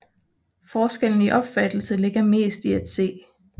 Forskellen i opfattelse ligger mest i at C